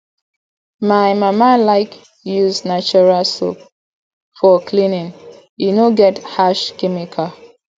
my mama like use natural soap for cleaning e no get harsh chemicals